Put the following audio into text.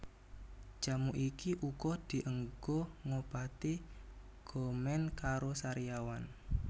Jamu iki uga dienggo ngobati gomen karo sariawan